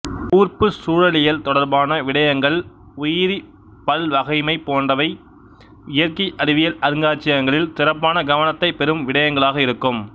கூர்ப்பு சூழலியல் தொடர்பான விடயங்கள் உயிரிப்பல்வகைமை போன்றவை இயற்கை அறிவியல் அருங்காட்சியகங்களில் சிறப்பான கவனத்தைப் பெறும் விடயங்களாக இருக்கும்